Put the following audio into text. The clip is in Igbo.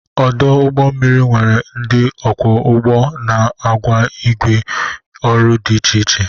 Ọdụ ụgbọ mmiri nwere ndị ọkwọ ụgbọ na agwọ igwe ọrụ dị iche iche.